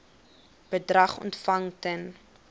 bedrag ontvang ten